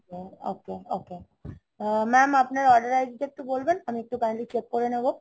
ok ok, mam, আপনার order id টা বলবেন, আমি একটু kindly check করে নিবো